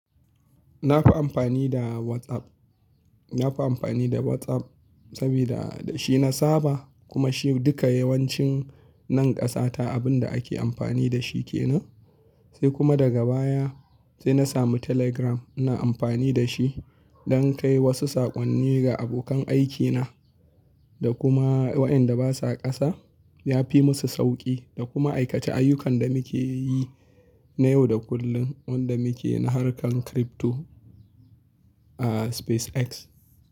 Na fi amfani da WhatsApp, na fi amfani da WhatsApp sabida da shi na saba kuma shi duka yawancin nan ƙasata abin da ake amfani da shi ke nan. Sai kuma daga baya sai na samu Telegram ina amfani da shi don kai wasu saƙonni ga abokan aikina da kuma waɗanda ba sa ƙasa. Ya fi musu sauƙi da kuma aikace ayyukan da muke yi na yau da kullum, wanda muke na harkar crypto, a SpaceX.